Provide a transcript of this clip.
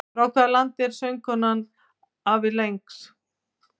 Frá hvaða landi er söngkonan Avril Lavigne?